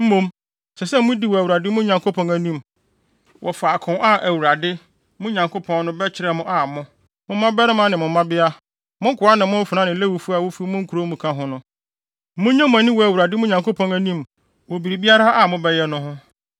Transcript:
Mmom, ɛsɛ sɛ mudi wɔ Awurade, mo Nyankopɔn, anim wɔ faako a Awurade, mo Nyankopɔn no, bɛkyerɛ mo a mo, mo mmabarima ne mo mmabea, mo nkoa ne mo mfenaa ne Lewifo a wofi mo nkurow mu ka ho no, munnye mo ani wɔ Awurade, mo Nyankopɔn no, anim wɔ biribiara a mobɛyɛ no ho.